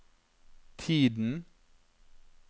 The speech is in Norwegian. tiden